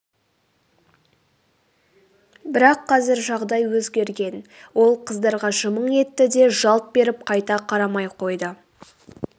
бірақ қазір жағдай өзгерген ол қыздарға жымың етті де жалт беріп қайта қарамай қойды